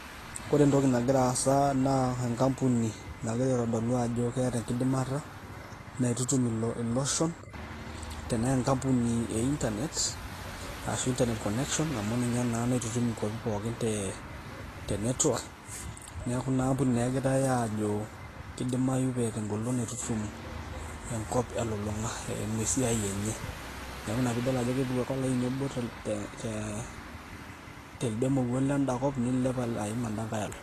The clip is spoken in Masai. Kore entoki nagira aasa naa enkampuni nagira aitodolu ajokeeta enkidimata naitutum iloshon, tenee enkampuni e inernet ashu internet connection amu ninye naitutum nkuapi pookin te network ,neeku ina ambuni naa egirai aajo kidimayu peeta eng'olon naitutum enkop elulung'a eimu esia enye. Neeku ina piidol ake epuku olaini obo te te telde mowuo lenda kop niliep aim olenkae alo.